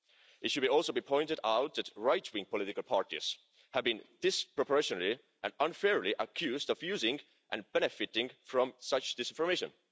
It should also be pointed out that right wing political parties have been disproportionately and unfairly accused of using and benefiting from such disinformation.